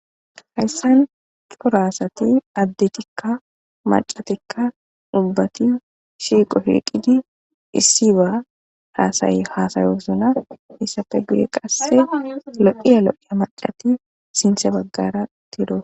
hayssan poraasati addetikka macatikka ubbati shiiqo shilqidi issi baa haasayi haasayosona hissafe guye qasse loqiya lo7iya macati sintse baggara tiro